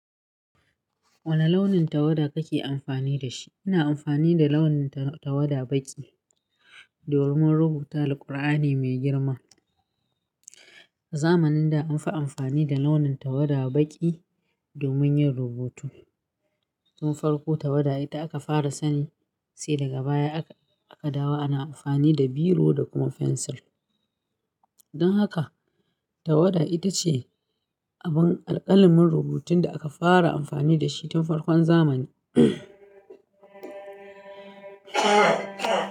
Wani launin tawada kake amfani da shi? Ina amfani da launin tawada baƙi domin rubuta Alqur'ani mai girma. A zamanin da an fi amfani da launin tawada baƙi domin yin rubutu. Ko farko tawada ita aka fara sani sai daga baya aka, aka dawo ana amfani da biro da kuma fensil. Don haka tawada ita ce abin alƙalamin rubutun da aka fara amfani da shi tun farkon zamani.